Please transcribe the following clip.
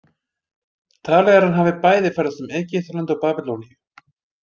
Talið er að hann hafi bæði ferðast um Egyptaland og Babýloníu.